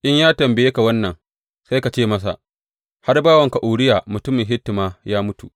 In ya tambaye ka wannan, sai ka ce masa, Har bawanka Uriya mutumin Hitti ma ya mutu.’